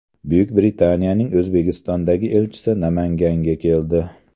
Buyuk Britaniyaning O‘zbekistondagi elchisi Namanganga keldi.